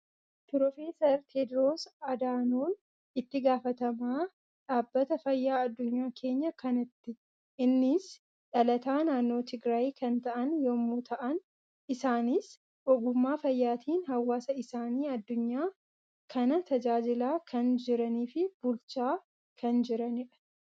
Proofeessar Tewoodiroos Adanoon, itti gaafatamaa dhaabbata fayyaa addunya keenyaa kanatti. Innis dhalataa naannoo Tigraayi kan ta'an yemmuu ta'an, isaanis ogummaa fayyaatiin haawasa isaanii addunya kana tajaajilaa kan jiranii fi bulchaa kan jiranidha.